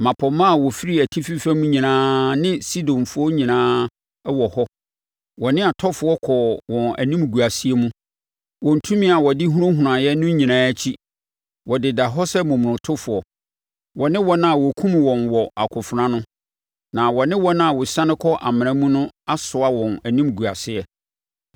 “Mmapɔmma a wɔfiri atifi fam nyinaa ne Sidonfoɔ nyinaa wɔ hɔ, wɔ ne atɔfoɔ kɔɔ wɔ animguaseɛ mu, wɔn tumi a wɔde hunahunaeɛ no nyinaa akyi. Wɔdeda hɔ sɛ momonotofoɔ, wɔne wɔn a wɔkum wɔn wɔ akofena ano, na wɔne wɔn a wɔsiane kɔ amena mu no asoa wɔn animguaseɛ.